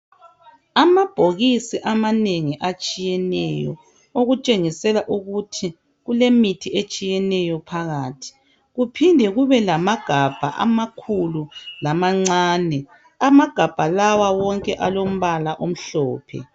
Amabhokisi amanengi atshiyeneyo okutshengisela ukuth kulemithi etshiyeneyo phakathi. Kuphinde kube lamagabha amakhulu lamancane. Amagabha lawa wonke alombala omhlophe.